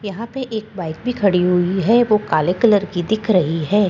यहां पे एक बाइक भी खड़ी हुई है वो काले कलर की दिख रही है।